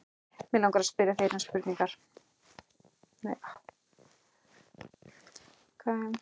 Mig langar til að spyrja þig einnar spurningar.